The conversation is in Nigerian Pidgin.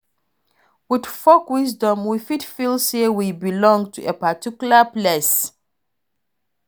With folk wisdom, we fit feel say we belong to a particular place